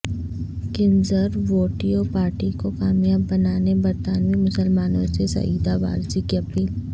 conservative party کو کامیاب بنانے برطانوی مسلمانوں سے سعیدہ وارثی کی اپیل